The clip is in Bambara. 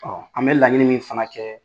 Ɔɔ an be laɲini min fana kɛ